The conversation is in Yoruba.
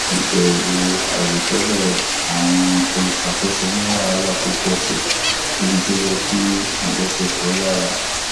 ìbẹwò àìròtẹlè àwọn olùṣàkóso mu wàhálà pọ síi níbi tó yẹ kí àjọṣepọ yára